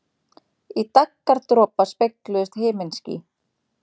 Í daggardropa spegluðust himinský.